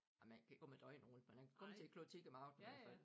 Ah man kan ikke komme æ døgn rundt men man kan komme til æ klok 10 om aftenen i hvert fald